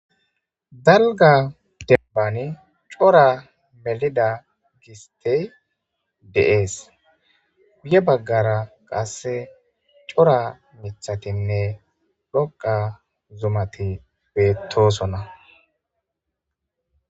dalga debbani cora melida gistey de7ees guye baggara qasse cora mithatinne dhoqa zumati beettosona